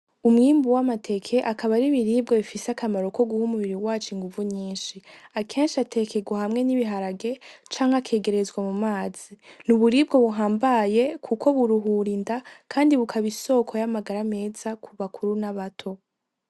Umwimbu w’amateke akaba ari ibiribwa bifise akamaro ko guha umubiri wacu inguvu nyinshi , akenshi atekerwa hamwe n’ibiharage canke akegerezwa mu mazi . N’uburibwa buhambaye Kuko buruhura inda kandi bukaba isoko ry’amagara meza ku bakuru n’abato.